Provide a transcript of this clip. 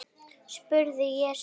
spurði ég svo.